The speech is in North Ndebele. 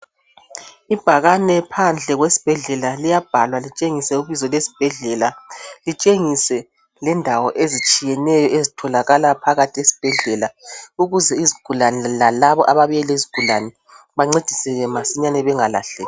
Ibhakane phandle kwesibhedlela liyabhalwa litshengise ibizo lesibhedlela, litshengise lendawo ezitshiyeneyo ezitholakala phakathi esibhedlela ukuze izigulane lalabo ababuye lezigulane bancediseke masinyane bengalahleki